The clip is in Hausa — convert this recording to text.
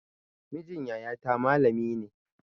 Mijin yaya ta malami ne